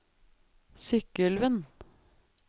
Sykkylven